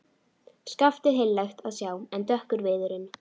Skaftið heillegt að sjá en dökkur viðurinn.